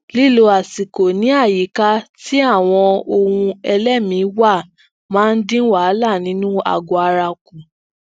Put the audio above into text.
lílo àsikò ní àyíká ti awọn ohunẹlẹmii wa máa ń dín wahala ninu agọ ara ku